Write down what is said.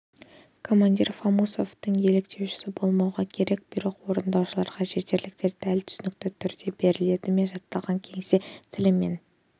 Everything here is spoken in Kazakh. командир фамусовтың еліктеушісі болмауға керек бұйрық орындаушыларға жетерліктей дәл түсінікті түрде берілді ме жатталған кеңсе тілімен